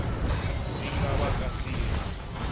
swi nga vaka swi ri